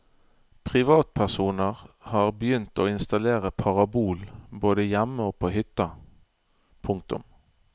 Privatpersoner har begynt å installere parabol både hjemme og på hytta. punktum